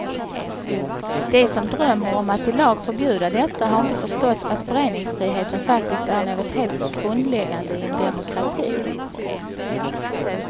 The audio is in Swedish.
De som drömmer om att i lag förbjuda detta har inte förstått att föreningsfriheten faktiskt är något helt grundläggande i en demokrati.